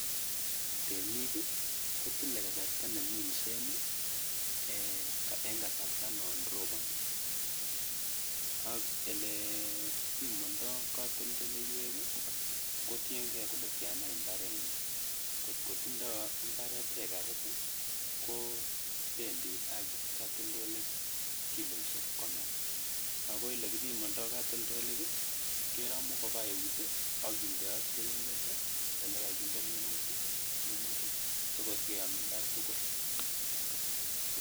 Temik kotile kasarta neminse eng kasarta non roboni ak ole pimandoi katoldoleiwek kotiengei kole tiana imbaarenyin , kotko tindoi imbaaret hekarit kobendi katldolaik kiloishek konom ako ole kipimandoi katoldolik keramu kobwaa eut ak kindoat keringet ole kakinde minutik. Minutik tugul koyam imbaar tugul.